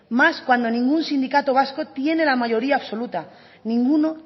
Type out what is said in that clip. más cuando ningún sindicato vasco tiene la mayoría absoluta ninguno